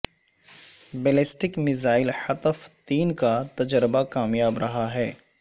ballistic missile Hatf تین کا تجربہ کامیاب رہا ہے